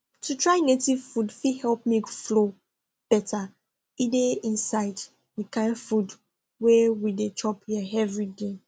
to try native food fit help milk flow better e dey inside the kind food wey we dey chop here everyday